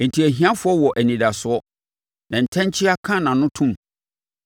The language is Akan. Enti, ahiafoɔ wɔ anidasoɔ, na ntɛnkyea ka nʼano to mu.